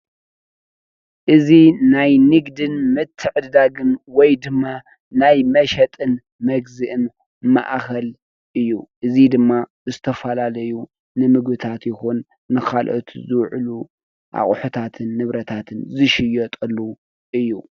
እዚ ናይ ንግድን ምትዕድዳግን ወይ ድማ ናይ መሸጥን መግዝእን ማእከል እዩ። እዚ ድማ ዝተፈላለዩ ንምግብታት ይኹን ንካልኦት ዝውዕሉ አቁሑታትን ንብረታትን ዝሽየጠሉ እዩ።